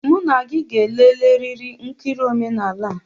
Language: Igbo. Mụ na gị ga-eleleriri nkiri omenala a!